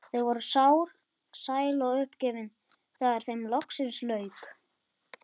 Þau voru sár, sæl og uppgefin þegar þeim loksins lauk.